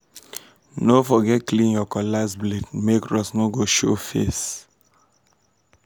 no forget clean your cutlass blade make rust no go show face.